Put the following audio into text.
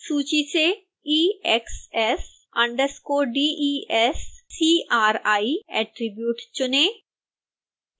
सूची से exs_descri attribute चुनें